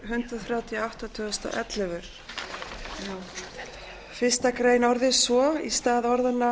hundrað þrjátíu og átta tvö þúsund og ellefu fyrstu grein orðist svo að í